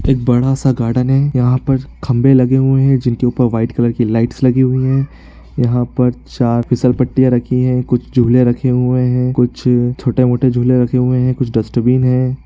एक बड़ा-सा गार्डन है यहाँ पर खम्भे लगे हुए है जिनके ऊपर वाइट कलर की लाइट्स लगी हुए है यहाँ पर चार फिसल पट्टियां रखी है कुछ झुले रखे हुए है कुछ छोटे मोटे झुले रखे हुए है कुछ डस्टबिन है।